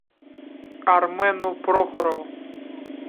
армену прохорову